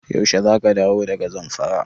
Yaushe za ka dawo daga Zamfara?